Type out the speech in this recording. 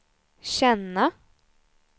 känna